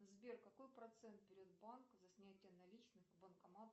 сбер какой процент берет банк за снятие наличных в банкомат